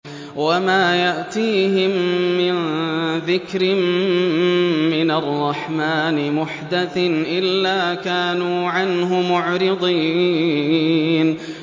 وَمَا يَأْتِيهِم مِّن ذِكْرٍ مِّنَ الرَّحْمَٰنِ مُحْدَثٍ إِلَّا كَانُوا عَنْهُ مُعْرِضِينَ